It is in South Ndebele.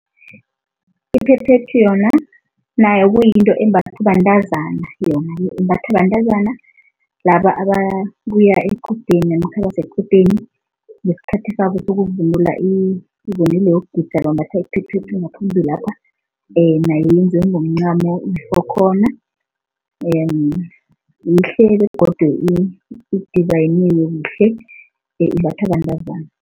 Iphephethu yona nayo kuyinto embathwa bantazana yona-ke, imbathwa bantazana laba ababuya equdeni namkha abasequdeni ngesikhathi sabo sokuvunula ivunulo yokugida bambatha iphephethu ngaphambilapha. Nayo yenziwe ngomncamo, ifokhona yihle begodu idizayiniwe kuhle, imbathwa bantazana.